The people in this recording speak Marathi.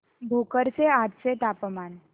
भोकर चे आजचे तापमान